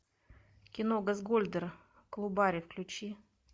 кино газгольдер клубаре включи